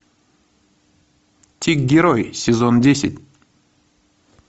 тик герой сезон десять